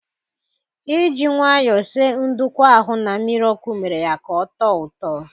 Iji nwayọ sie ndukwu ahụ na mmiri ọkụ mere ya ka ọ tọọ ụtọ